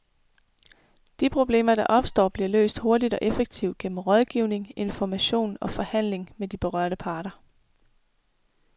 De problemer, der opstår, bliver løst hurtigt og effektivt gennem rådgivning, information og forhandling med de berørte parter.